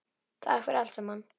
Takk fyrir allt saman.